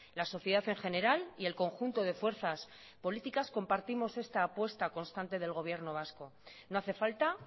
la sociedad en general y el conjunto de fuerzas políticas compartimos esta apuesta constante del gobierno vasco no hace falta